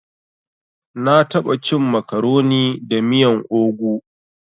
Na taɓa cin makaroni da miyan ogu.